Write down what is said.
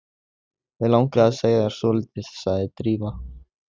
Mig langar að segja þér svolítið- sagði Drífa.